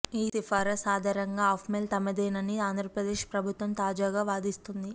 ఈ సిఫారసు ఆధారంగా ఆప్మేల్ తమదేనని ఆంధ్రప్రదేశ్ ప్రభుత్వం తాజాగా వాదిస్తోంది